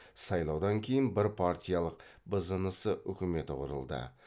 сайлаудан кейін бір партиялық бзнс үкіметі құрылды